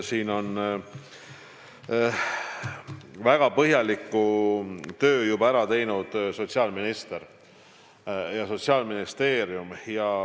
Selles vallas on väga põhjaliku töö juba ära teinud sotsiaalminister ja Sotsiaalministeerium.